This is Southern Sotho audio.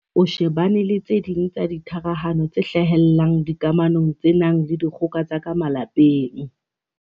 o shebane le tse ding tsa ditharahano tse hlahellang dikamanong tse nang le dikgoka tsa ka malapeng.